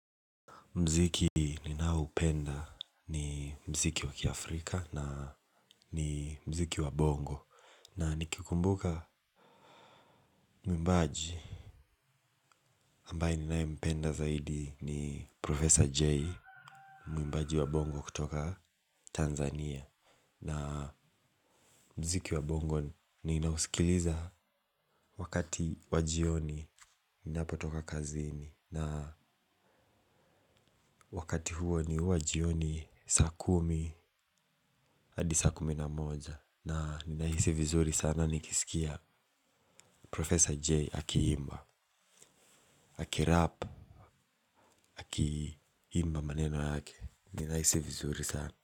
Mziki ninaoupenda ni mziki wakia Afrika na ni mziki wabongo. Na nikikumbuka mwimbaji ambaye ninae mpenda zaidi ni Prof. J. Mwimbaji wabongo kutoka Tanzania. Na mziki wabongo ninausikiliza wakati wajioni ninapo toka kazini. Na wakati huo ni wajioni saa kumi hadi saa kuminamoja. Na ninahisi vizuri sana nikisikia Profesor J akiimba. Akirap, akiimba maneno yake. Ninahisi vizuri sana.